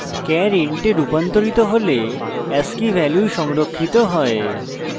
char int a রুপান্তরিত হলে ascii value সংরক্ষিত হয়